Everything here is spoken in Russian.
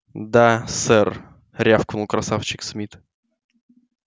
да сэр рявкнул красавчик смит